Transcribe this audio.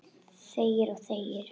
Þegir og þegir.